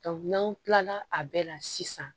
n'an kilala a bɛɛ la sisan